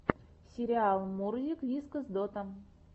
сериал мурзик вискас дота